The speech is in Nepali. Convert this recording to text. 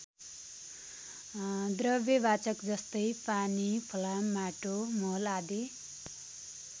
द्रव्य वाचक जस्तै पानी फलाम माटो मल आदि।